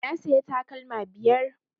Na siya takalma biyar